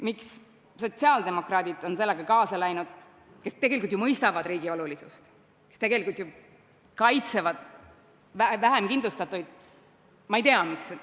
Miks on sellega kaasa läinud sotsiaaldemokraadid, kes tegelikult ju mõistavad riigi olulisust, kes tegelikult kaitsevad vähemkindlustatuid?